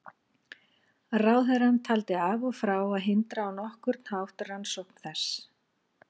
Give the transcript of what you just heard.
Ráðherrann taldi af og frá að hindra á nokkurn hátt rannsókn þess.